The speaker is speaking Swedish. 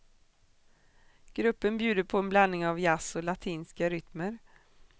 Gruppen bjuder på en blandning av jazz och latinska rytmer.